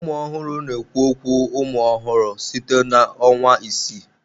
Ụmụ ọhụrụ na-ekwu okwu umụ ọhụrụ site na ọnwa isii.